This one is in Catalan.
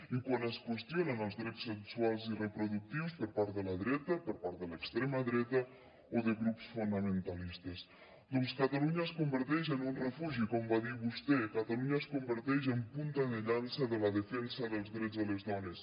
i quan es qüestionen els drets sexuals i reproductius per part de la dreta per part de l’extrema dreta o de grups fonamentalistes doncs catalunya es converteix en un refugi com va dir vostè catalunya es converteix en punta de llança de la defensa dels drets de les dones